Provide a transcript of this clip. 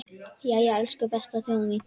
Jæja, elsku besta þjóðin mín!